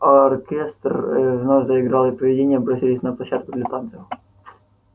оркестр вновь заиграл и привидения бросились на площадку для танцев